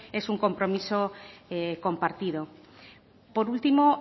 es un compromiso compartido por último